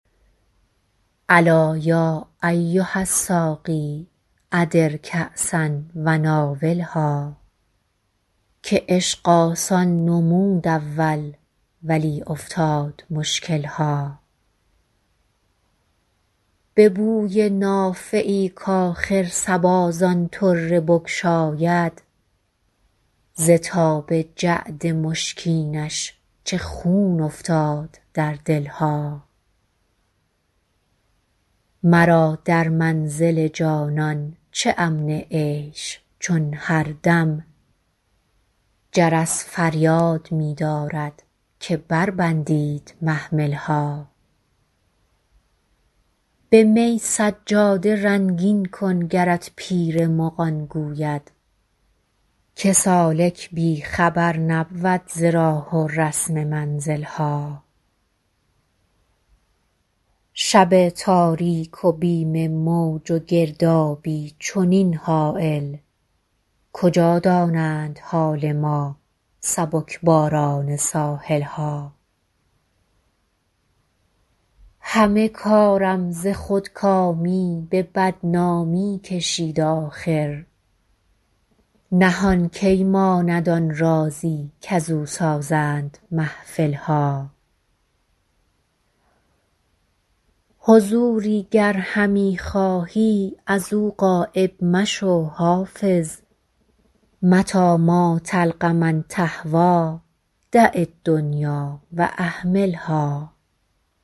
الا یا ایها الساقی ادر کأسا و ناولها که عشق آسان نمود اول ولی افتاد مشکل ها به بوی نافه ای کآخر صبا زان طره بگشاید ز تاب جعد مشکینش چه خون افتاد در دل ها مرا در منزل جانان چه امن عیش چون هر دم جرس فریاد می دارد که بربندید محمل ها به می سجاده رنگین کن گرت پیر مغان گوید که سالک بی خبر نبود ز راه و رسم منزل ها شب تاریک و بیم موج و گردابی چنین هایل کجا دانند حال ما سبک باران ساحل ها همه کارم ز خودکامی به بدنامی کشید آخر نهان کی ماند آن رازی کزو سازند محفل ها حضوری گر همی خواهی از او غایب مشو حافظ متیٰ ما تلق من تهویٰ دع الدنیا و اهملها